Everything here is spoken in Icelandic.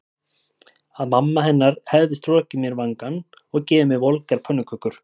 Að mamma hennar hefði strokið mér vangann og gefið mér volgar pönnukökur.